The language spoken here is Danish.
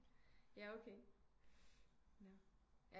Ja okay nå